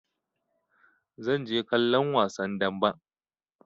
Zan je kallon wasan damben.